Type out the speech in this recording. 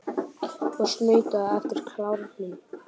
Og snautaðu eftir klárnum.